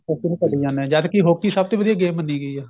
hockey ਨੂੰ ਭੂਲੀ ਜਾਨੇ ਆ ਜਦ ਕੀ hockey ਸਭ ਤੋਂ ਵਧੀਆ game ਮੰਨੀ ਗਈ ਏ